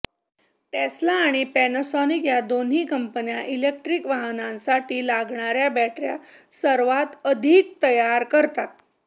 Tesla आणि Panasonic या दोन्ही कंपन्या ईलेक्ट्रीक वाहनांसाठी लागणाऱ्या बॅटऱ्या सर्वात अधिक तयार करतात